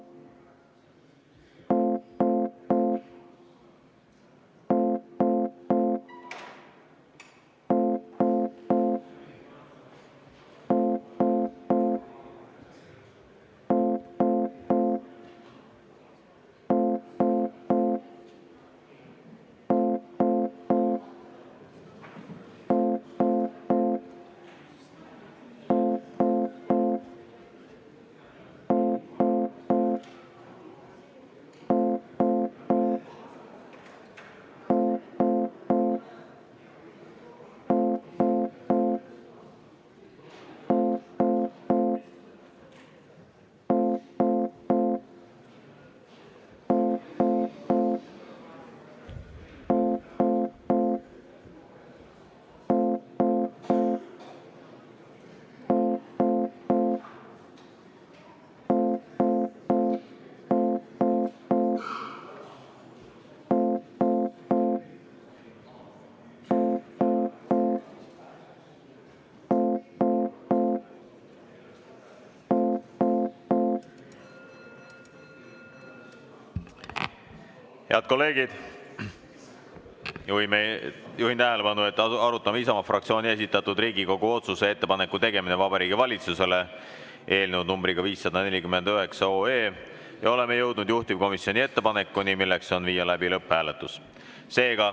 Head kolleegid, juhin tähelepanu, et arutame Isamaa fraktsiooni esitatud Riigikogu otsuse "Ettepaneku tegemine Vabariigi Valitsusele" eelnõu 549 ja oleme jõudnud juhtivkomisjoni ettepanekuni, milleks on viia läbi lõpphääletus.